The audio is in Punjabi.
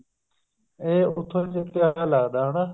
ਇਹ ਉੱਥੋਂ ਚੱਕਿਆ ਵਿਆ ਲੱਗਦਾ ਹਨਾ